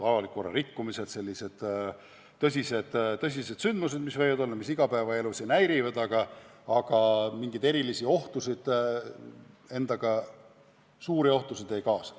Avaliku korra rikkumised on sellised tõsised sündmused, mis igapäevaelu ehk häirivad, aga mingeid erilisi, suuri ohtusid need endaga kaasa ei too.